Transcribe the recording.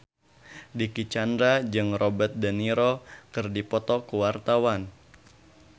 Dicky Chandra jeung Robert de Niro keur dipoto ku wartawan